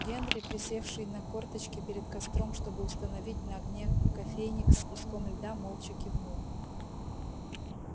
генри присевший на корточки перед костром чтобы установить на огне кофейник с куском льда молча кивнул